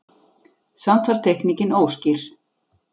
Samt var teikningin óskýr.